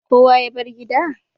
Kowa ya bar gida?